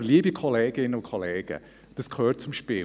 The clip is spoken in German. Aber, liebe Kolleginnen und Kollegen, das gehört zum Spiel.